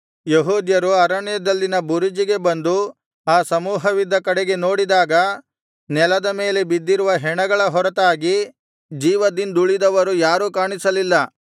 ಯೆಹೂದ್ಯರು ಅರಣ್ಯದಲ್ಲಿನ ಬುರುಜಿಗೆ ಬಂದು ಆ ಸಮೂಹವಿದ್ದ ಕಡೆಗೆ ನೋಡಿದಾಗ ನೆಲದ ಮೇಲೆ ಬಿದ್ದಿರುವ ಹೆಣಗಳ ಹೊರತಾಗಿ ಜೀವದಿಂದುಳಿದವರು ಯಾರು ಕಾಣಿಸಲಿಲ್ಲ